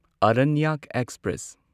Aranyak express